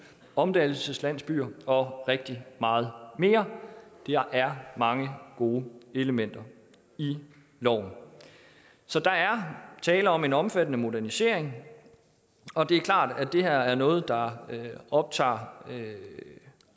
omdannelseslandsbyer og rigtig meget mere der er mange gode elementer i loven så der er tale om en omfattende modernisering og det er klart at det her er noget der optager